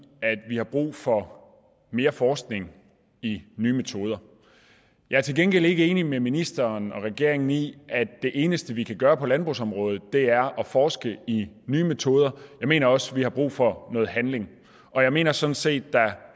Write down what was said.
at vi har brug for mere forskning i nye metoder jeg er til gengæld ikke enig med ministeren og regeringen i at det eneste vi kan gøre på landbrugsområdet er at forske i nye metoder jeg mener også vi har brug for noget handling og jeg mener sådan set at der